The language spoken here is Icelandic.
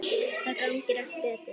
Þá gangi allt betur.